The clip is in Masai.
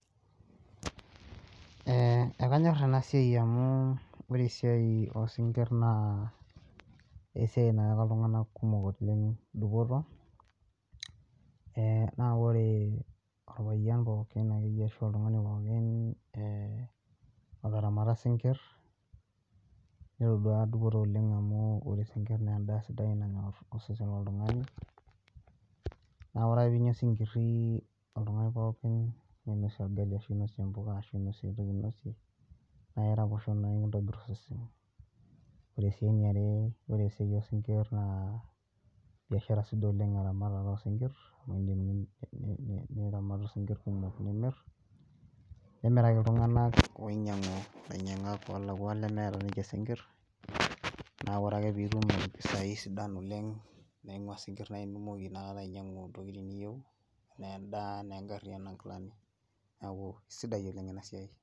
Eeh ekanyorr enasiai amu ore esiai oosinkirr naa esiai nayaka iltung'ana kumok oleng' dupoto eh naa ore olpayian pooki ashu oltung'ani akeiye pookin eh otaramata sinkirr netoduaa dupoto oleng' amuu ore sinkirr nendaa sidai nanyorr osesen loltung'ani. Naa ore ake piinya osinkirri oltung'ani pookin ninosie orgali arashu inosie mpoka arashu inosie entoki ninosie naairaposho nake kintobirr osesen. Ore sii eniare ore esiai osinkirr naa biashara sidai oleng' eramatata oosinkirr. Amu indim niramat isinkirr kumok nimirr, nimiraki iltung'anak oinyang'u, lainyang'ak oolakua lemeeta ninche sinkirr naa ore ake piitum mpisai sidan oleng' naing'uaa sinkirr naitumoki inakata ainyang'u intokitin niyeu anendaa anaa engarri anaa nkilani. Neaku sidai oleng' enasiai.